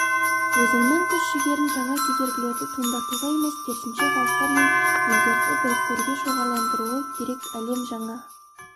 өзінің күш-жігерін жаңа кедергілерді туындатуға емес керісінше халықтар мен елдерді біріктіруге шоғырландыруы керек әлем жаңа